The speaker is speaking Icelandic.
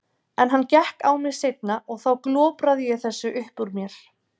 En hann gekk á mig seinna og þá glopraði ég þessu upp úr mér.